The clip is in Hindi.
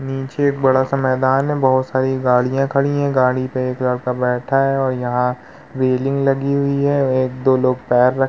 नीचे एक बड़ा सा मैदान है। बहोत सारी गाड़ियाँ खड़ी हैं। गाडी पे एक लड़का बैठा है और यहाँ रेलिंग लगी हुई है। एक दो लोग पे --